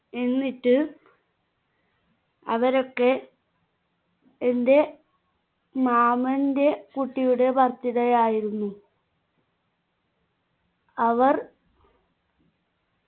എന്നിട്ട് അവരൊക്കെ എന്റെ മാമന്റെ കുട്ടിയുടെ birthday ആയിരുന്നു അവർ